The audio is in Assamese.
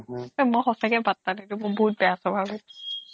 মই সঁচাকে পাত্তা নিদিওঁ মোৰ বহুত বেয়া স্বভাৱ হয়